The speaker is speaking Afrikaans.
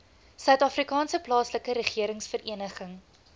suidafrikaanse plaaslike regeringsvereniging